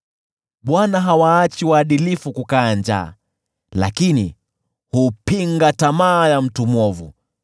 Bwana hawaachi waadilifu kukaa njaa, lakini hupinga tamaa ya mtu mwovu.